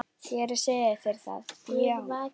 Ég er að segja þér það, já.